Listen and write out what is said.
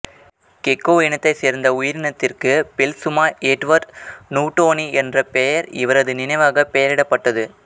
gecko இனத்தைச் சேர்ந்த உயிரினத்திற்கு பெல்சுமா எட்வர்டு நுவ்டோனி என்ற பெயர் இவரது நினைவாக பெயரிடப்பட்டது